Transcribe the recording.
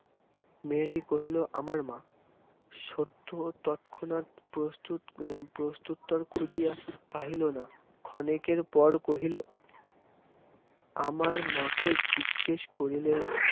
মেয়েটি কহিল আমার মা সত্য তৎক্ষণাৎ প্রত্যুত্ত প্রত্যুত্তর খুঁজিয়া পাইল না ক্ষণেক পর কহিল আমার মাকে জিজ্ঞেস করলেই